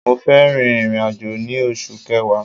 Mo fẹ́ rin ìrìn-àjò ní oṣù kẹwa